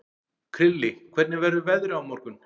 Krilli, hvernig verður veðrið á morgun?